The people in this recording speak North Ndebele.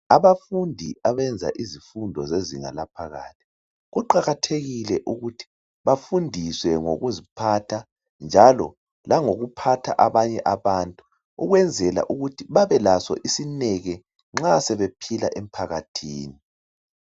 Abafundi abenza izifundo zezinga laphakathi, kuqakathekile ukuthi bafundiswe ngokuziphatha njalo langokuphatha abanye abantu. Ukwenzela ukuthi babe laso isineke nxa sebephila emphakathini.